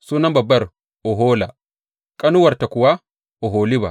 Sunan babbar Ohola, ƙanuwarta kuwa Oholiba.